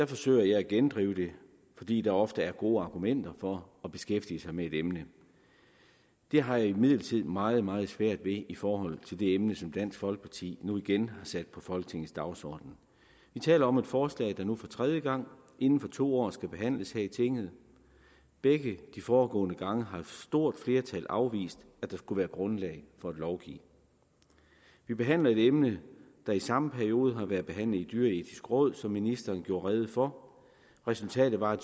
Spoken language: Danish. forsøger jeg at gendrive det fordi der ofte er gode argumenter for at beskæftige sig med et emne det har jeg imidlertid meget meget svært ved i forhold til det emne som dansk folkeparti nu igen sat på folketingets dagsorden vi taler om et forslag der nu for tredje gang inden for to år skal behandles her i tinget begge de foregående gange har et stort flertal afvist at der skulle være grundlag for at lovgive vi behandler et emne der i samme periode har været behandlet i det dyreetiske råd som ministeren gjorde rede for resultatet var at